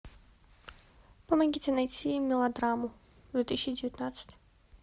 помогите найти мелодраму две тысячи девятнадцать